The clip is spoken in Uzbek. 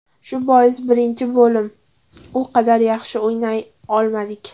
Shu bois birinchi bo‘lim u qadar yaxshi o‘ynay olmadik.